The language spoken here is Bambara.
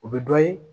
O bɛ dɔ ye